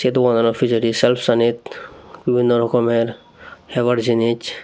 ei doganano pijedi selfsanit bibinno rokomer hebar jinich.